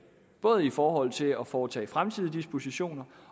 både i forhold til at foretage fremtidige dispositioner